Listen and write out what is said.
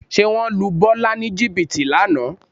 Ṣé wọ́n lu Bọ́lá ní jìbìtì lánàá?